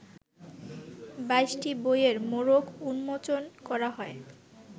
২২টি বইয়ের মোড়ক উন্মোচন করা হয়